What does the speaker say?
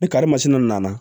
Ni kari masina nana